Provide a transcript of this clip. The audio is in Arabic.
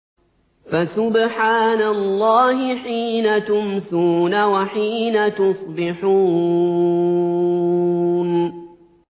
فَسُبْحَانَ اللَّهِ حِينَ تُمْسُونَ وَحِينَ تُصْبِحُونَ